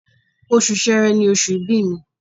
Oṣù Sẹrẹ ni oṣù ìbí mi